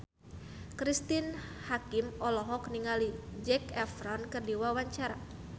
Cristine Hakim olohok ningali Zac Efron keur diwawancara